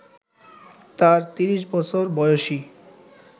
তার ৩০ বছর বয়সী